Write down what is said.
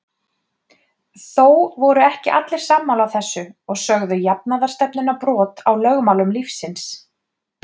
Þó voru ekki allir sammála þessu og sögðu jafnaðarstefnuna brot á lögmálum lífsins.